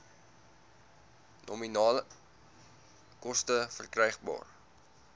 nominale koste verkrygbaar